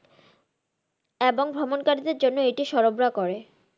এবং ভ্রমন কারি দের জন্য এটি সরবরাহ করে।